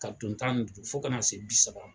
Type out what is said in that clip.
Ka don tan ni duuru fo kana se bi saba